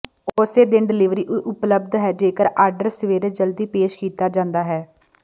ਉਸੇ ਦਿਨ ਡਲਿਵਰੀ ਉਪਲਬਧ ਹੈ ਜੇਕਰ ਆਰਡਰ ਸਵੇਰੇ ਜਲਦੀ ਪੇਸ਼ ਕੀਤਾ ਜਾਂਦਾ ਹੈ